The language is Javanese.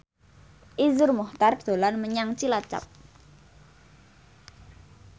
Iszur Muchtar dolan menyang Cilacap